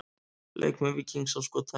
Leikmenn Víkings á skotæfingu.